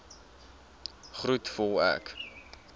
groet voel ek